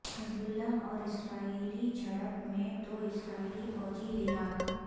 حزب اللہ اور اسرائیلی جھڑپ میں دو اسرائیلی فوجی ہلاک